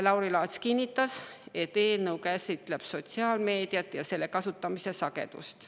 Lauri Laats kinnitas, et eelnõu käsitleb sotsiaalmeediat ja selle kasutamise sagedust.